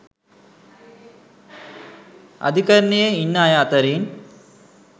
අධිකරණයේ ඉන්න අය අතරින්